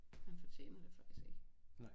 Han fortjener det faktisk ikke